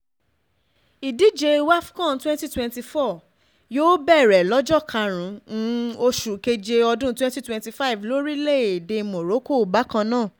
ìdíje wafcon twenty twety four yóò bẹ̀rẹ̀ lọ́jọ́ kárùn ún oṣù keje ọdún twenty twenty five lórílẹ̀‐èdè morocco bákan náà